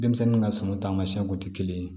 Denmisɛnnin ka sɔngɔ taamasiyɛnw tɛ kelen ye